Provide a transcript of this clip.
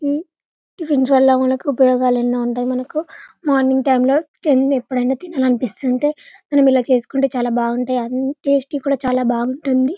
T tiffins వల్ల మనకు ఉపాయూగాలు ఎన్నో ఉంటాయి మనకు మార్నింగ్ టైము లో ఎప్పుడైనా తినాలి అనిపిస్తుంటే మనమూ ఇలా చేసుకుంటే చాలా బాగుంటాయి టేస్ట్ కూడా చాలా బాగుంటుంది.